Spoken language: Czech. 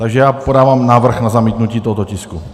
Takže já podávám návrh na zamítnutí tohoto tisku.